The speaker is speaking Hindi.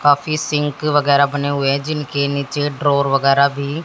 काफी सिंक वगैरा बने हुए जिनके नीचे ड्रॉर वगैरा भी--